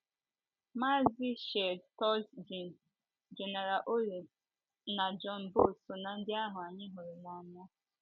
Maazi Shield Toutjian, Gene Orrell, na John Booth so ná ndị ahụ anyị hụrụ n’anya.